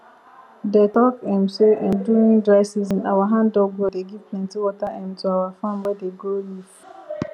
dey talk um say um during dry season our handdug well dey give plenty water um to our farm wey dey grow leaf